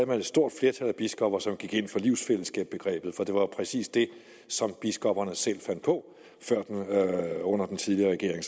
man et stort flertal af biskopper som gik ind for livsfællesskabsbegrebet for det var jo præcis det som biskopperne selv fandt på under den tidligere regering